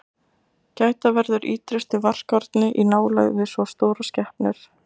Gæta verður ítrustu varkárni í nálægð við svo stórar skepnur.